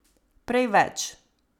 Prej več.